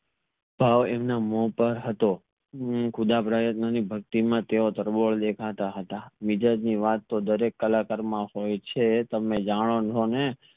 ભાવ એમના મોહ પર હતો ખુદા પ્રયત્ન ની ભક્તિ માં તેઓ તરબોળ દેખાતા હતા મિજાજ ની વાત તો દરેક કલાકાર માં હોય છે તમે જાણો છો ને